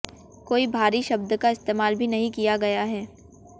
कोई भारी शब्द का इस्तेमाल भी नहीं किया गया है